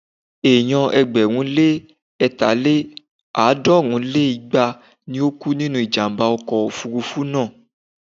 Ènìyàn ẹgbẹ̀rún lé ẹ̀ta lé ní- àádọ́rùn lé igba ni ó kú nínú ìjàm̀bá ọkọ̀ òfurufú náà.